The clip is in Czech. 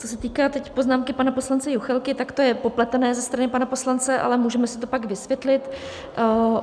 Co se týká teď poznámky pana poslance Juchelky, tak to je popletené ze strany pana poslance, ale můžeme si to pak vysvětlit.